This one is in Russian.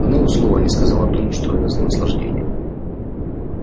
и ни одного слова не сказал о том что это за наслаждение